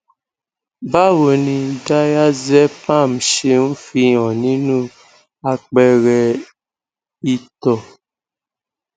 báwo ni diazepam ṣe ń fi hàn nínú àpẹẹrẹ ìto